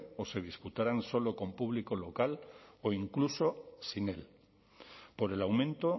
o se disputarán solo con público local o incluso sin él por el aumento